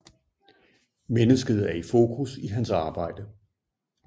Mennesket er i fokus i hans arbejde